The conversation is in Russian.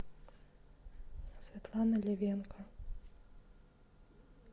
светлана левенко